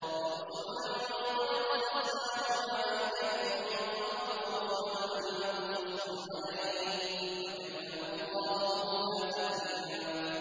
وَرُسُلًا قَدْ قَصَصْنَاهُمْ عَلَيْكَ مِن قَبْلُ وَرُسُلًا لَّمْ نَقْصُصْهُمْ عَلَيْكَ ۚ وَكَلَّمَ اللَّهُ مُوسَىٰ تَكْلِيمًا